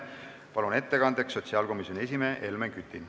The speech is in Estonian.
Palun ettekandjaks sotsiaalkomisjoni esimehe Helmen Küti.